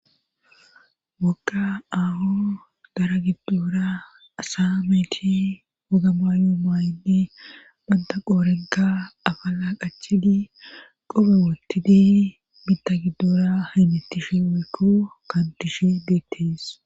wokka aaho dara giddura asa meeti hogama yoo maayndi banta qoorenka afa laa qachidi qobe wootti deeni mita gidduura hiymettishe wekko kandishe deetteess